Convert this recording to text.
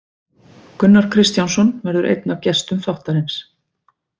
Gunnar Kristjánsson verður einn af gestum þáttarins.